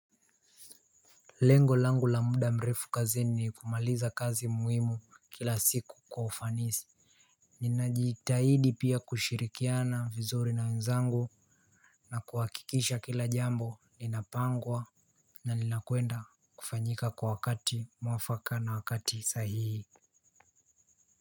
Lengo langu la muda mrefu kazini ni kumaliza kazi muhimu kila siku kwa ufanisi. Ninajitahidi pia kushirikiana vizuri na wenzangu. Na kuhakikisha kila jambo ninapangwa na linakwenda kufanyika kwa wakati mwafaka na wakati sahihi.